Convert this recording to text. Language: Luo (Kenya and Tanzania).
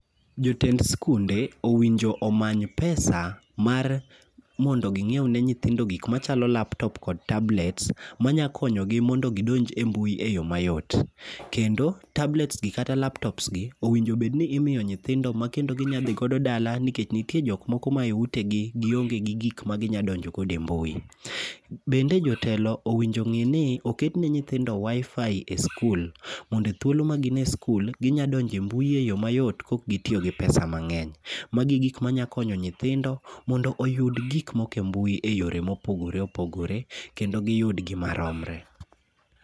Jotend skunde owinjo omany pesa mar, mondo ging'iew ne nyithindo gik machalo laptop kod tablets, manyakonyo gi mondo gidonj e mbui eyo mayot. Kendo, tablets gi kata laptops gi, owinjo bedni imiyo nyithindo makendo ginyadhi godo dala nikech nitie jok moko ma e utegi gionge gi gik ma ginyadonjo godo e mbui. Bende jotelo owinjo ong'i ni oket ne nyithindo WiFi e skul. Mondo e thuolo ma gin e skul, ginyadonjo e mbui eyo mayot kok gitiyo gi pesa mang'eny. Magi gik manyakonyo nyithindo, mondo oyud gik moko e mbui e yore mopogore opogore, kendo giyud gi maromre